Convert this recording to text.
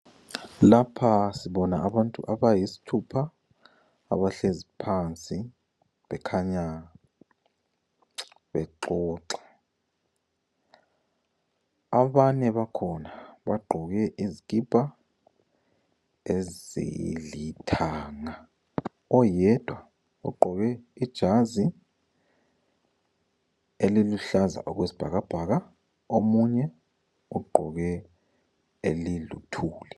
Lapha sibona abantu abayisithupha abahlezi phansi. Bekhanya bexoxa. Abanye bakhona bagqoke izikipa ezilithanga. Oyedwa ugqoke ijazi eliluhlaza okwesibhakabhaka . Omunye ugqoke eliluthuli.